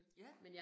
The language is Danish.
Ja